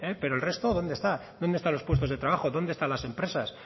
pero el resto dónde está dónde están los puestos de trabajo dónde están las empresas